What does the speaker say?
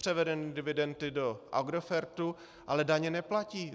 Převedeny dividendy do Agrofertu, ale daně neplatí.